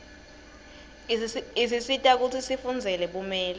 isisita kutsi sifundzele bumeli